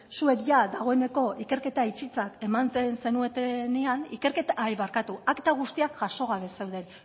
zuek jada dagoeneko ikerketa itxitzat ematen zenutenean barkatu akta guztiak jaso gabe zeuden